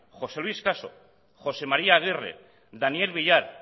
josé luis caso josé maría aguirre daniel villar